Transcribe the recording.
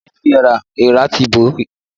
Da oúnjẹ tí èèrà ti bò yẹn dànù!